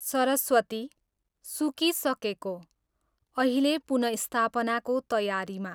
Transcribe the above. सरस्वती, सुकिसकेको, अहिले पुनःस्थापनाको तयारीमा